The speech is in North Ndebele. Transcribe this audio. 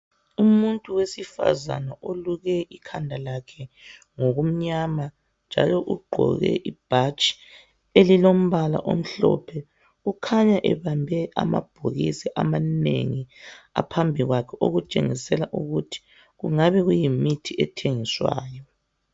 Umuntu wesifazana oluke ikhanda lakhe ngokumnyama njalo ugqoke ibhatshi elilombala omhlophe ukhanya ebambe amabhokisi amanengi aphambi kwakhe okutshengisela ukuthi kungabe kuyimithi ethengiswayo.